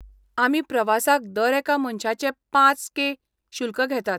आमी प्रवासाक दर एका मनशाचे पांच के शुल्क घेतात.